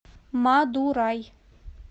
мадурай